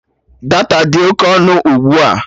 Data dị oke ọnụ ugbua